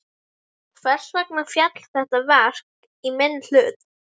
Hvers vegna féll þetta verk ekki í minn hlut?